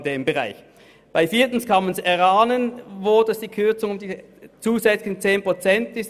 Bei der Planungserklärung 4 kann man erahnen, wo die Kürzung von zusätzlichen 10 Prozent stattfinden soll.